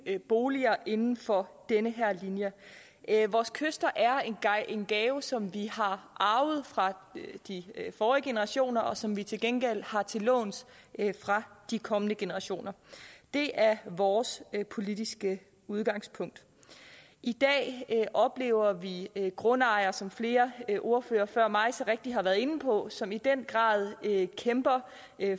nye boliger inden for den her linje vores kyster er en gave som vi har arvet fra de forrige generationer og som vi til gengæld har til låns fra de kommende generationer det er vores politiske udgangspunkt i dag oplever vi grundejere som flere ordførere før mig så rigtigt har været inde på som i den grad kæmper